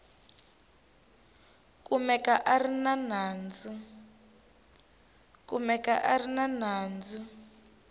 kumeka a ri na nandzu